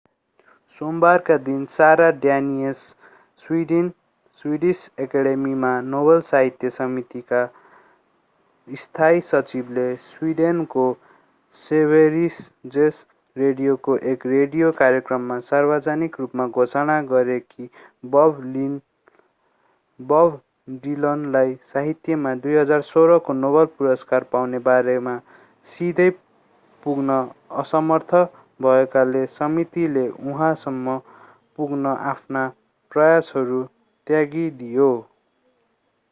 सोमबारका दिन Sara Danius Swedish एकेडेमीमा Nobel साहित्य समितिका स्थायी सचिवले स्विडेनको सेभेरिजेस रेडियोको एक रेडियो कार्यक्रममा सार्वजनिक रूपमा घोषणा गरे कि बब डिलनलाई साहित्यमा 2016 को नोबेल पुरस्कार पाउने बारेमा सिधै पुग्न असमर्थ भएकाले समितिले उहाँसम्म पुग्न आफ्ना प्रयासहरू त्यागिदियो